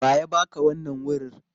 Wa ya ba ka wannan wurir?